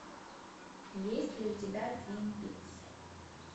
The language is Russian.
есть ли у тебя твин пикс